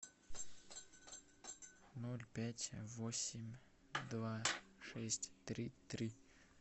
ноль пять восемь два шесть три три